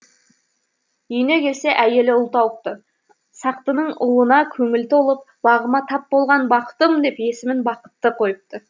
үйіне келсе әйелі ұл тауыпты сақтының ұлына көңілі толып бағыма тап болған бақытым деп есімін бақытты қойыпты